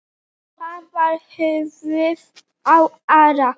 Hvar var höfuðið á Ara?